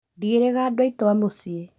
Ndiĩrĩga andũ aitũ a mũcii